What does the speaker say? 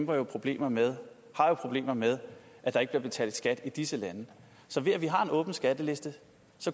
jo problemer med problemer med at der ikke bliver betalt skat i disse lande så ved at vi har en åben skatteliste